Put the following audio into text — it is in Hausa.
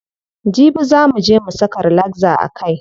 Jibi zaa muje mu saka relaxer a kai.